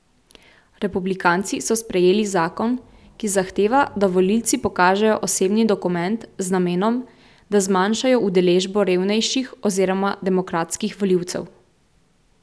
Republikanci so sprejeli zakon, ki zahteva, da volivci pokažejo osebni dokument z namenom, da zmanjšajo udeležbo revnejših oziroma demokratskih volivcev.